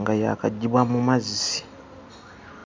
nga yaakaggyibwa mu mazzi.